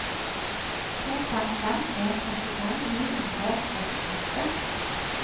to fem fem en femtifem ni hundre og syttiåtte